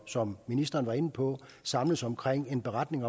som ministeren var inde på samles omkring en indberetning